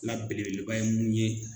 La belebeleba ye mun ye